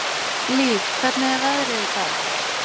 Líf, hvernig er veðrið í dag?